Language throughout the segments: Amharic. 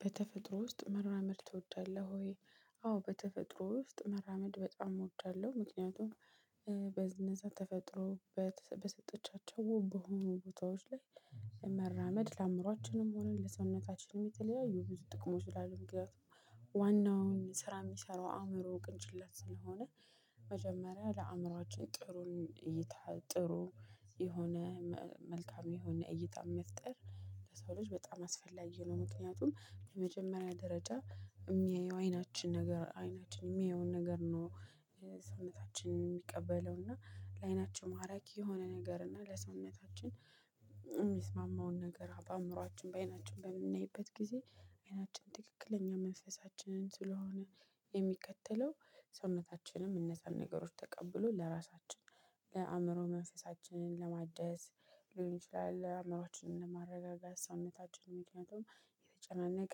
በተፈጥሮ ውስጥ መራመድ ትወዳለህ ወይ? አዎ በተፈጥሮ ውስጥ መራመድ በጣም እወዳለሁ። ምክንያቱም በነዛ ተፈጥሮ በሰጠቻቸው ዉብ በሆኑ ቦታዎች ላይ መራመድ ለአእምሮአችንም ሆነ ለሰውነታችንም የተለያዩ ብዙ ጥቅሞች አለው። ምክንያቱም ዋናውን ስራ የሚሰራው አእምሮ ቅንጭለት ስለሆነ መጀመሪያ ለአእምሮአችን ጥሩን እይታ ጥሩ የሆነ መልካም የሆነ እይታ መፍጠር ለሰው ልጅ በጣም አስፈላጊ ነው። ምክንያቱም በመጀመሪያ ደረጃ የሚያየው አይናችን ነገር አይናችን የሚያየውን ነገር ነው። ሰውነታችን የሚቀበለው እና ለአይናችን ማራኪ የሆነ ነገር እና ለሰውነታችን የሚስማማውን ነገር በአእምሯችን በአይናችን በምናይበት ጊዜ አይናችን ትክክለኛ መንፈሳችንን ስለሆነ የሚከተለው ሰውነታችንም እነዛን ነገሮች ተቀብሎ ለራሳችን ለአእምሮ መንፈሳችንን ለማደስ ሊሆን ይችላል። አእምሯችንን ለማረጋጋት ሳዉነታችንን ምክንያቱም የተጨናነቀ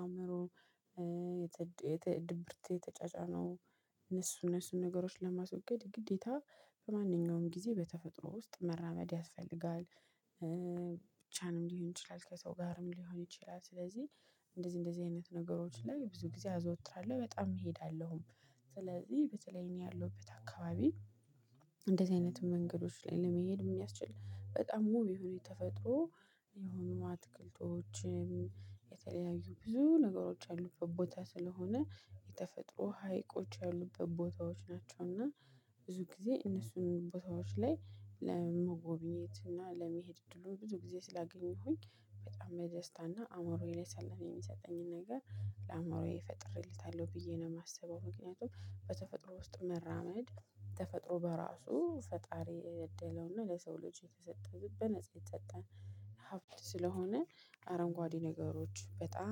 አእምሮ ድብርት የተጫጫነው እነሱ እነሱን ነገሮች ለማስወገድ ግዴታ በማንኛውም ጊዜ በተፈጥሮ ውስጥ መራመድ ያስፈልጋል። ብቻህንም ሊሆን ይችላል ከሰው ጋርም ሊሆን ይችላል። ስለዚህ እንደዚህ እንደዚህ አይነት ነገሮች ላይ ብዙ ጊዜ አዘወትራለሁ በጣም እሄዳለሁም። ስለዚህ በተለይ እኔ ያለሁበት አከባቢ እንደዚህ አይነት መንገዶች ላይ ለመሄድ የሚያስችል በጣም ውብ የሆኑ የተፈጥሮ የሆኑ አትክልቶችም የተለያዩ ብዙ ነገሮች ያሉበት ቦታ ስለሆነ የተፈጥሮ ሀይቆች ያሉበት ቦታዎች ናቸውና። ብዙ ጊዜ እነሱ ቦታዎች ላይ ለመጎብኘት እና ለመሄድ እድሉን ብዙ ጊዜ ስላገኘሁኝ በጣም ደስታና አእሞሮዬ ላይ ሰለም የሚሰጠኝን ነገር ለአእሞሮዬ ፈጥሬለታለሁ ብዬ ነው የማሰበው። ምክንያቱም በተፈጥሮ ውስጥ መራመድ ተፈጥሮ በራሱ ፈጣሪ ያደለውና ለሰው ልጅ የተሰጠ በነፃ የተሰጠ ሀብት ስለሆነ። አረንጓዴ ነገሮች በጣም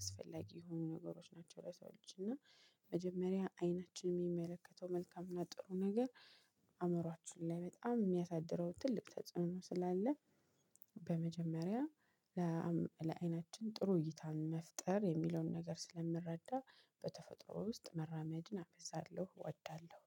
ኣስፈላጊ የሆኑ ነገሮች ናቸው። ለሰዎች እና መጀመሪያ አይናችን የሚመለከተው መልካም እና ጥሩ ነገር አእምሮአችን ላይ በጣም የሚያሳድረው ትልቅ ተጽኖ ስላለ። በመጀመሪያ ለአይናችን ጥሩ እይታን መፍጠር የሚለውን ነገር ስለምረዳ በተፈጥሮ ውስጥ መራመድን አበዛለሁ እወዳለሁ